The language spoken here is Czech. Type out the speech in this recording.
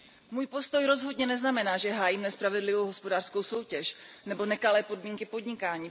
Můj postoj rozhodně neznamená, že hájím nespravedlivou hospodářskou soutěž nebo nekalé podmínky podnikání.